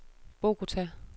Bogota